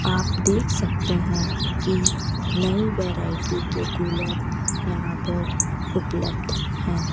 आप देख सकते हैं की नई वैरायटी के कूलर यहां पर उपलब्ध है।